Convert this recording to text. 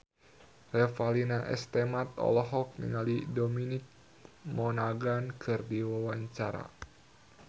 Revalina S. Temat olohok ningali Dominic Monaghan keur diwawancara